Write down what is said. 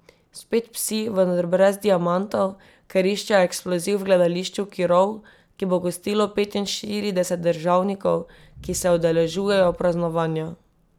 Spet psi, vendar brez diamantov, ker iščejo eksploziv v gledališču Kirov, ki bo gostilo petinštirideset državnikov, ki se udeležujejo praznovanja.